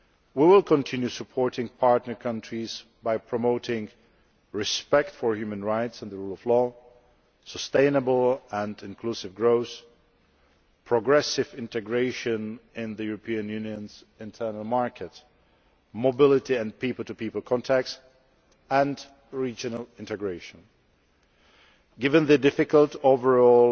We will continue supporting partner countries by promoting respect for human rights and the rule of law, sustainable and inclusive growth, progressive integration in the European Unionʼs internal markets, mobility and people to people contacts, and regional integration. Given the difficult overall